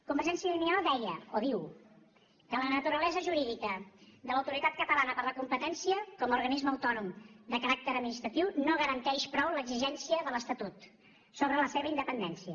convergència i unió deia o diu que la naturalesa jurídica de l’autoritat catalana de la competència com a organisme autònom de caràcter administratiu no garanteix prou l’exigència de l’estatut sobre la seva independència